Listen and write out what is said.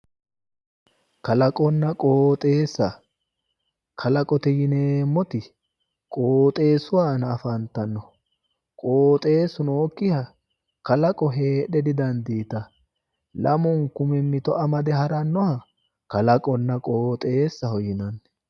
Kalaqonna qooxeessa, kalaqote yineemmoti qooxeessu aana afantanno, qooxeessu nooyikkiha kalaqo heedhe didandiitanno, lamunku mimito amade harannoha kalaqonna qooxeessaho yinanni.